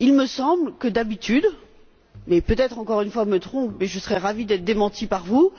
Il me semble que d'habitude mais peut être encore une fois que je me trompe, et je serai ravie d'être démentie par vous